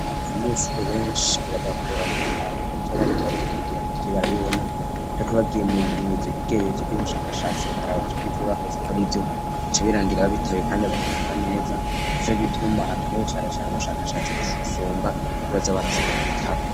Abanyeshure benshi birabagora gutahura ivyo bariko bariga mugihe batariko barabibona, zriko bagiye muvy'ubushakashatsi bica birangira babitoye bakabitahura neza, nicogituma hakenewe cane cane ubushakashatsi cane, gusumba, ivyo basoma mubitabo.